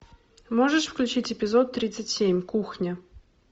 можешь включить эпизод тридцать семь кухня